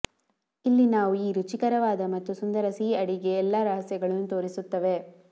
ಇಲ್ಲಿ ನಾವು ಈ ರುಚಿಕರವಾದ ಮತ್ತು ಸುಂದರ ಸಿಹಿ ಅಡಿಗೆ ಎಲ್ಲಾ ರಹಸ್ಯಗಳನ್ನು ತೋರಿಸುತ್ತವೆ